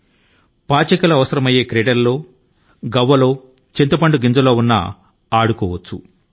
పాచిక లు అవసరమయ్యే ఈ తరహా ఆటల ను కాస్త సరళీకరించి గవ్వల తోనో లేదా చింతపిక్కల తోనో ఆడుతున్నారు